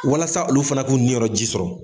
Walasa olu fana k'u niyɔrɔ ji sɔrɔ.